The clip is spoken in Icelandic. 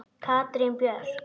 Katrín Björk.